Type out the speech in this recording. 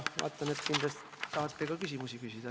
Vaatan, et te tahate siin ka küsimusi küsida.